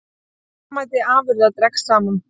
Verðmæti afurða dregst saman